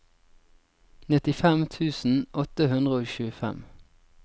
nittifem tusen åtte hundre og tjuefem